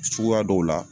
Suguya dɔw la